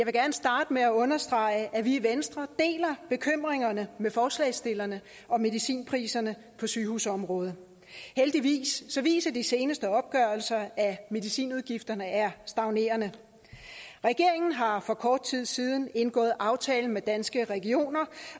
starte med at understrege at vi i venstre deler bekymringerne med forslagsstillerne om medicinpriserne på sygehusområdet heldigvis viser de seneste opgørelser at medicinudgifterne er stagnerende regeringen har for kort tid siden indgået aftale med danske regioner